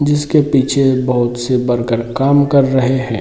जिसके पीछे बहोत से वर्कर काम कर रहे हैं।